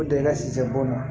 O de ka sisi b'o ma